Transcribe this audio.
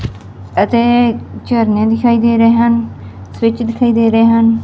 ਇਥੇ ਝਰਨੇ ਦਿਖਾਈ ਦੇ ਰਹੇ ਹਨ ਸਵਿਚ ਦਿਖਾਈ ਦੇ ਰਹੇ ਹਨ।